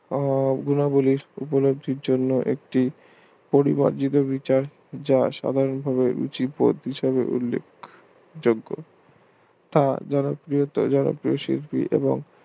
গুণাবলীর উপলব্ধির গুণাবলীর জন্য পরিবার জনিত বিচার যা সাধারণ ভাবে রুচি পথ হিসাবে উল্লিখ যোগ্য তা জনপ্রিয়তা জনপ্রিয় শিল্পী